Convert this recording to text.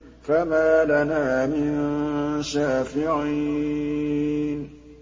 فَمَا لَنَا مِن شَافِعِينَ